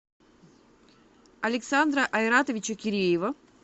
александра айратовича киреева